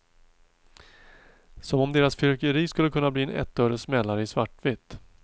Som om deras fyrverkeri skulle kunna bli en ettöres smällare i svartvitt.